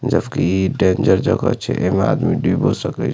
जब कि डेंजर जगह छै एमे आदमी डुबो सके --